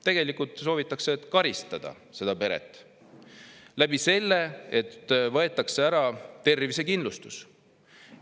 Tegelikult soovitakse karistada seda peret nii, et võetakse ära tervisekindlustus.